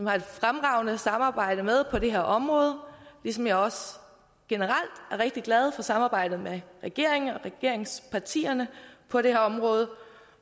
har et fremragende samarbejde med på det her område ligesom jeg også generelt er rigtig glad for samarbejdet med regeringen og regeringspartierne på det her område